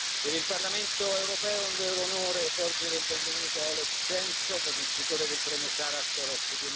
per il Parlamento europeo è un vero onore porgere il benvenuto a Oleg Sentsov, vincitore del premio Sacharov